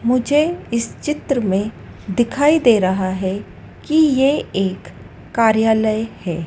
मुझे इस चित्र में दिखाई दे रहा है कि ये एक कार्यालय है।